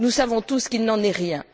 Nous savons tous qu'il n'en est rien.